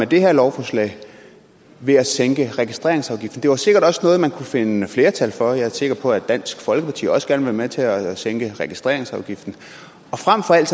det her lovforslag ved at sænke registreringsafgiften det var sikkert også noget man kunne finde flertal for jeg er sikker på at dansk folkeparti også gerne med til at at sænke registreringsafgiften og frem for alt